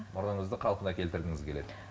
мұрныңызды қалпына келтіргіңіз келеді